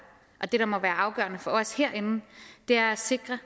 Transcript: og som må være afgørende for os herinde er at sikre